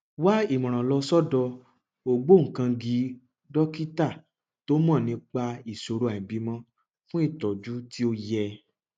wá ìmọràn lọ sọdọ ògbóǹkangí dókítà tó mọ nípa ìṣòro àìbímọ fún ìtọjú tí ó yẹ